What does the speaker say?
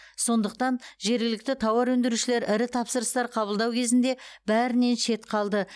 сондықтан жергілікті тауар өндірушілер ірі тапсырыстар қабылдау кезінде бәрінен шет қалды